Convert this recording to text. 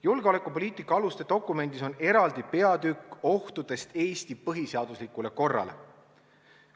Julgeolekupoliitika aluste dokumendis on eraldi peatükk ohtudest Eesti põhiseaduslikule korrale.